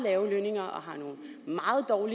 og